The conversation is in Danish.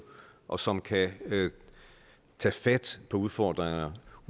og som kan tage fat på udfordringerne